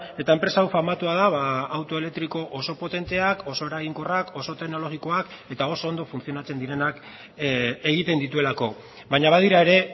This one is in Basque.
eta enpresa hau famatua da auto elektriko oso potenteak oso eraginkorrak oso teknologikoak eta oso ondo funtzionatzen direnak egiten dituelako baina badira ere